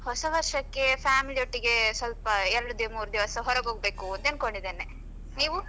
ಹೊಸ ವರ್ಷಕ್ಕೆ family ಒಟ್ಟಿಗೆ ಸ್ವಲ್ಪ ಎರಡು ದಿ ಮೂರು ದಿವಸ ಹೊರಗ ಹೋಗ್ಬೇಕು ಅಂತ ಅನ್ಕೊಂಡಿದ್ದೇನೆ ನೀವು?